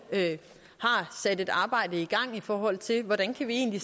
sat et arbejde i gang i forhold til hvordan vi egentlig